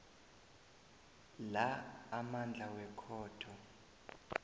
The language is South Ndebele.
la amandla wekhotho